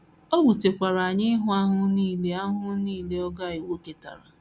O wutekwara anyị ịhụ ahụhụ nile ahụhụ nile ọgọ anyị nwoke tara.